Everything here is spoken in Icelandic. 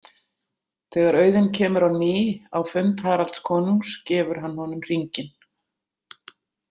Þegar Auðunn kemur á ný á fund Haralds konungs gefur hann honum hringinn.